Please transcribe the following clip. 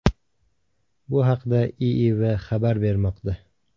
Bu haqda IIV xabar bermoqda.